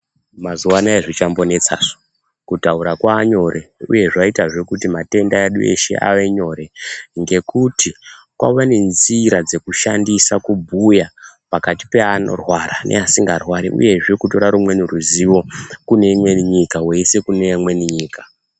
Mazuvaanaya hazvichambonetsasu kutaura kwavanyore uye zvaita zvekuti matenda edu eshe avenyore ngekuti kwave nezvira dzekushandisa kubuya pakati peanorwara neasingarwari uyezve kutora nerumweni ruzivo kuneimwe nyika woise kune imwe nyika.